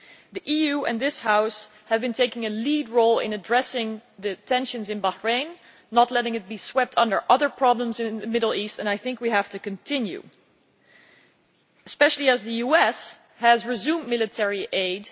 The EU and this House have been taking a lead role in addressing the tensions in Bahrain, not letting it be swept under other problems in the Middle East, and I think we have to continue, especially as the US has resumed military aid.